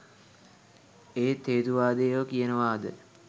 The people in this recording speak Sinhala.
ඒත් හේතුවාදියො කියනවද